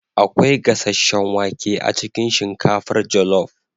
akwai gasasshen wake a cikin shinkafar jollof